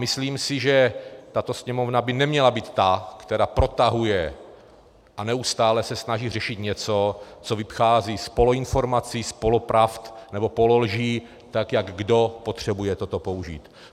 Myslím si, že tato Sněmovna by neměla být ta, která protahuje a neustále se snaží řešit něco, co vychází z poloinformací, z polopravd nebo pololží, tak jak kdo potřebuje toto použít.